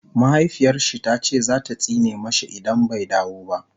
mahaifiyarshi tace zata tsine mashi idan bai dawo ba